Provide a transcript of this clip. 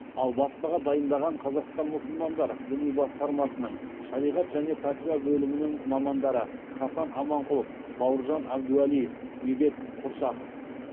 ал баспаға дайындаған қазақстан мұсылмандар діни басқармасының шариғат және пәтуа бөлімінің мамандары хасан аманқұлов бауыржан әбдуалиев медет құрсақов